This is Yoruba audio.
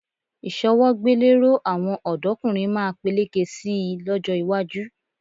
Ìṣọwọ́gbéléró àwọn ọ̀dọ́kùnrin máa peléke sí i lọ́jọ́ iwájú